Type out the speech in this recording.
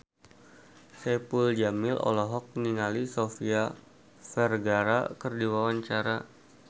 Saipul Jamil olohok ningali Sofia Vergara keur diwawancara